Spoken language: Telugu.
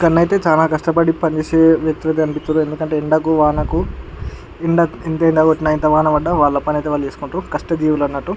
ఇక్కడనైతే చాలా కస్టపడి పని చేసే వ్యక్తులు కనిపితురు ఎందుకంటే ఎండకు వానకు ఎంత ఎండా కొట్టిన ఎంత వాన పడ్డ వాళ్ళ పని అయితే వాళ్ళు చేస్కుంటరు కష్ట జీవులన్నట్టు.